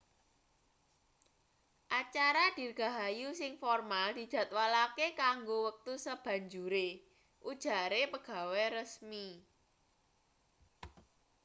acara dirgahayu sing formal dijadwalake kanggo wektu sabanjure ujare pegawe resmi